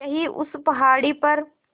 यहीं उस पहाड़ी पर